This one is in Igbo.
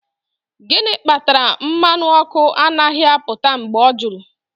Gịnị kpatara mmanụ ọkụ anaghị apụta mgbe o juru?